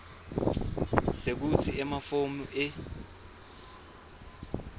sekutsi emafomu e